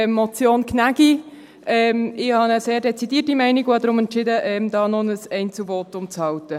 Ich habe eine sehr dezidierte Meinung und habe deshalb entschieden, hier noch ein Einzelvotum zu halten.